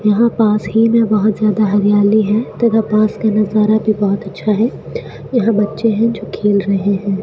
यहां पास ही मे बहोत ज्यादा हरियाली है तो वह पास का नाजरा भी बहोत अच्छा है यहां बच्चे है जो खेल रहे है।